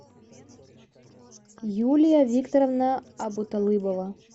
юлия викторовна абуталыбова